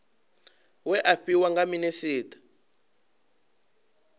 we a fhiwa nga minisita